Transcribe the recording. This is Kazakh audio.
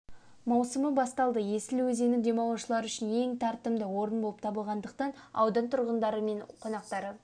маусымы басталды есіл өзені демалушылар үшін ең тартымды орын болып табылатындықтан аудан тұрғындары мен қонақтары